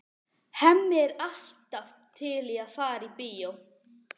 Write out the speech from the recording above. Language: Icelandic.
Hemmi er alltaf til í að fara í bíó.